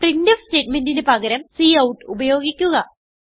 printf സ്റ്റേറ്റ്മെന്റിന് പകരം cout ഉപയോഗിക്കുക